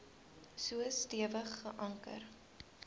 so stewig geanker